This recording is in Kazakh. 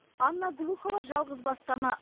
анна глухова жалғызбасты ана